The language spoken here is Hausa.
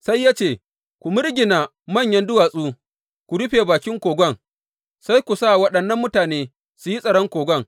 Sai ya ce, Ku mirgina manyan duwatsu ku rufe bakin kogon, sai ku sa waɗannan mutane su yi tsaron kogon.